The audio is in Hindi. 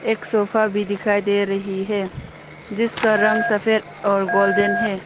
एक सोफा भी दिखाई दे रही है जिसका रंग सफेद और गोल्डन है।